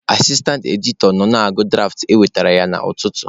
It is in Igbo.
Asistantị editọ nọ na-agụ dụraft e wetere ya n'ụtụtụ.